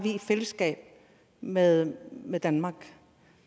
fælles med med danmark og